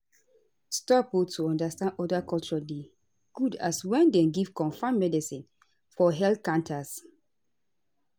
stop o to understand oda culture dey good as wen dem give confam medicine for health canters